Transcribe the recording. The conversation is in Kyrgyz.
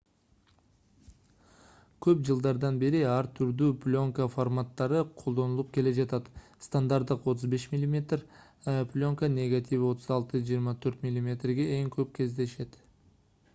көп жылдардан бери ар түрдүү плёнка форматтары колдонулуп келе жатат. стандарттык 35 мм плёнка негативи 36*24 мм эң көп кездешет